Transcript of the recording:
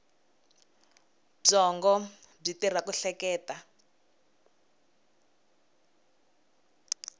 byongo byi tirha ku hleketa